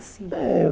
sim.É eu